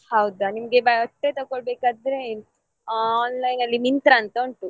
ಹೌದಾ ನಿಮಗೆ ಬಟ್ಟೆ ತಗೊಳ್ಬೇಕಂತ ಇದ್ರೆ online ನಲ್ಲಿ Myntra ಅಂತ ಉಂಟು.